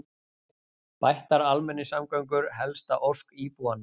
Bættar almenningssamgöngur helsta ósk íbúanna